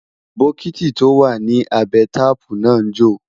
bokiti tó wà nì abé taààpu nà njo